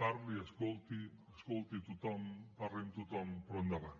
parli escolti escolti tothom parli amb tothom però endavant